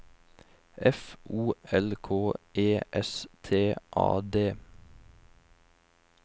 F O L K E S T A D